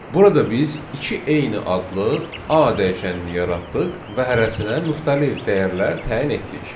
Burada biz iki eyni adlı A dəyişənini yaratdıq və hərəsinə müxtəlif dəyərlər təyin etdik.